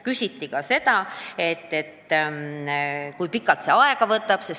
Küsiti ka seda, kui pikalt see aega võtaks, kui seda otsustataks teha.